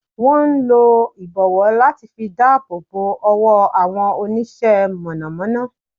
Wón n lo ìbọ̀wọ́ láti fi dáàbòbò owó àwọn Onísẹ́ - mọ̀nọ̀mọ́nọ́